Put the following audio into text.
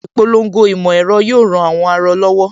Ìpolongo ìmọ̀ ẹ̀rọ yóò ran àwọn aarọ lọ́wọ́